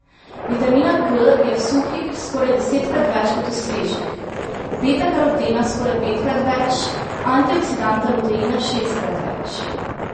Vitamina K je v suhih skoraj desetkrat več kot v svežih, betakarotena skoraj petkrat več, antioksidanta luteina šestkrat več.